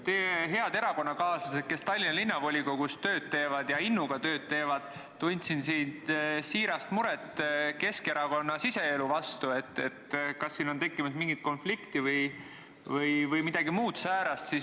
Teie head erakonnakaaslased, kes Tallinna Linnavolikogus tööd teevad ja innuga teevad, tundsid siin siirast muret Keskerakonna siseelu pärast, kas siin on tekkimas mingit konflikti või midagi muud säärast.